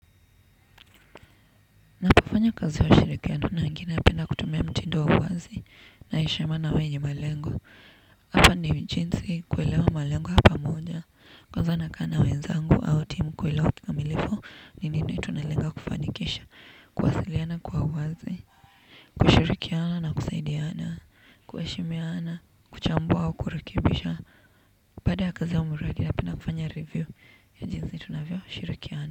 Na kufanya kazi ya shirikiano na wengi napenda kutumia mtido wa uwazi na heshima na wenye malengo. Hata ni jinsi kuelewa malengo ya pamoja. Kwanza nakaa na wezangu au timu kuwelewa kikamilifu ni nini tunalenga kufanikisha, kwasiliana kwa wazi, kushirikiana na kusaidiana, kuheshimiana, kuchambua au kurekibisha. Baada ya kazi au mradi napenda kufanya review ya jinsi tunavyo shirikiana.